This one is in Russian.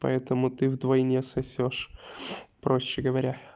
поэтому ты вдвойне сосёшь проще говоря